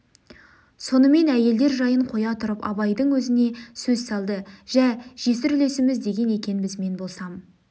сонымен әйелдер жайын қоя тұрып абайдың өзіне сөз салды жә жесір үлесеміз деген екенбіз мен болсам